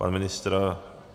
Pan ministr?